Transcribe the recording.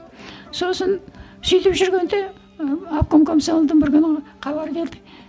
сосын сөйтіп жүргенде і обком комсомолдан бір күні хабар келді